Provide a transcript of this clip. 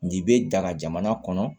Nin bɛ daga jamana kɔnɔ